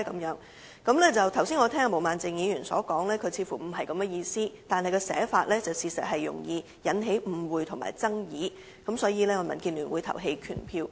然而，我剛才聽罷毛孟靜議員的解釋後，卻發現她似乎不是這意思，但她的寫法確實容易引起誤會和爭議，所以民建聯會投棄權票。